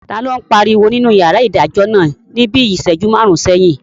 Taló n pariwo nínú yàrá ìdájọ́ náà ní bíi ìsẹ́jú máàrún sẹ́yìn?